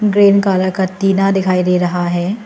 Green colour का टीना दिखाई दे रहा है।